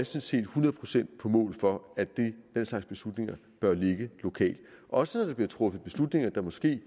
set hundrede procent på mål for at den slags beslutninger bør ligge lokalt også når der bliver truffet beslutninger der måske